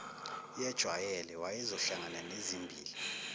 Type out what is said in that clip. yejwayele wayezohlangana nezimbila